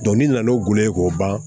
n'i nana n'o golo ye k'o ban